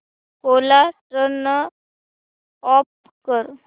कोरा turn off कर